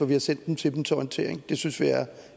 vi har sendt den til dem til orientering det synes vi